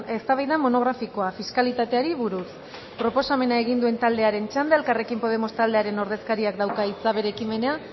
eztabaida monografikoa fiskalitateari buruz proposamena egin duen taldearen txanda elkarrekin podemos taldearen ordezkariak dauka hitza bere ekimena